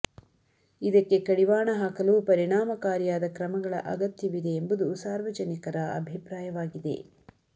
ಇದಕ್ಕೆ ಕಡಿವಾಣ ಹಾಕಲು ಪರಿಣಾಮಕಾರಿಯಾದ ಕ್ರಮಗಳ ಅಗತ್ಯವಿದೆ ಎಂಬುದು ಸಾರ್ವಜನಿಕರ ಅಭಿಪ್ರಾಯವಾಗಿದೆ